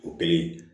O kelen